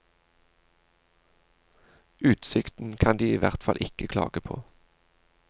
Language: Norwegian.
Utsikten kan de i hvert fall ikke klage på.